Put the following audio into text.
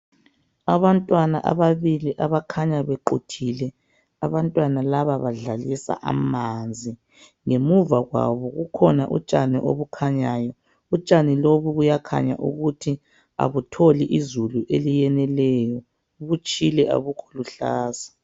Abantwana ababili abakhanya bequthile abantwana laba bakhanya badlalisa amanzi. Ngemuva kwabo kukhona kukhona utshani okukhanyayo, utshani lobu buyakhanya ukuthi abutholi izulu eleneleyiyo abukho luhlaza.